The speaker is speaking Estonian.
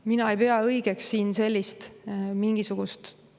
Mina ei pea õigeks siin sellist mingisugust …